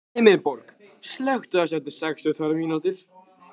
Himinbjörg, slökktu á þessu eftir sextíu og tvær mínútur.